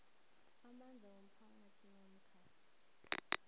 amandla womphakathi namkha